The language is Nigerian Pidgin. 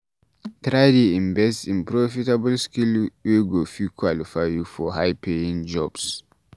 try dey invest in profitable skill wey go fit qualify you for high paying jobs